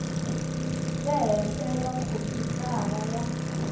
le henhla eka khompyutara ya